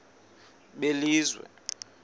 belizwe